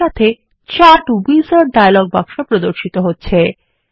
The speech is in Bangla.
একই সাথে চার্ট উইজার্ড ডায়ালগ বক্স প্রর্দশিত হচ্ছে